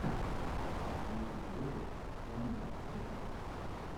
последний выпуск ханны стокинг